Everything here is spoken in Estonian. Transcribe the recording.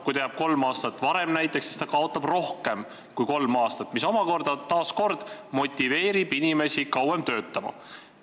Kui ta jääb näiteks kolm aastat varem pensionile, siis ta kaotab rohkem kui kolme aasta raha, mis taas kord motiveerib inimest kauem töötama.